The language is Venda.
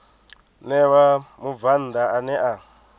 ṋewa mubvann ḓa ane a